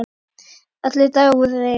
Allir dagar voru eins.